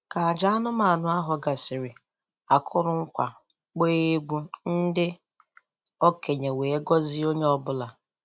Ka aja anụmanụ ahụ gasịrị, a kụrụ nkwa, gbaa egwu, ndị okenye wee gọzie onye ọbụla